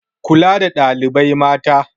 Kula da ɗalibai mata